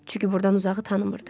Çünki burdan uzağı tanımırdı.